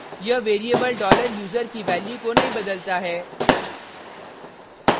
यह variable $user की value को नहीं बदलता है